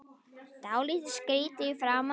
Dálítið skrýtin í framan.